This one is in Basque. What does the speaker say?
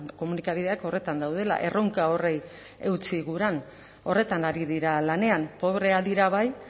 komunikabideak horretan daudela erronka horri eutsi guran horretan ari dira lanean pobreak dira bai